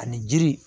Ani jiri